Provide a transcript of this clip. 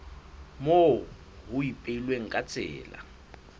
moo ho ipehilweng ka tsela